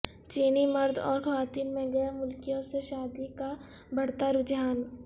چینی مرد اور خواتین میں غیر ملکیوں سے شادی کا بڑھتا رجحان